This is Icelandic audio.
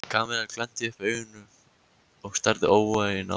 Kamilla glennti upp augun og starði óvægin á manninn.